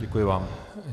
Děkuji vám.